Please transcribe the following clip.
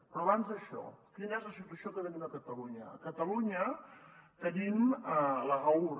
però abans d’això quina és la situació que tenim a catalunya a catalunya tenim l’agaur